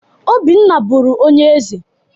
Obinna bụrụ onye eze.